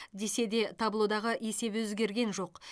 десе де таблодағы есеп өзгерген жоқ